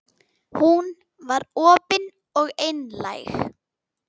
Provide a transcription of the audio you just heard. Hún var opin og einlæg.